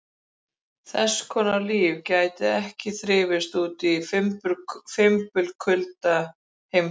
Þess konar líf gæti ekki þrifist úti í fimbulkulda geimsins.